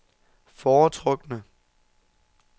foretrukne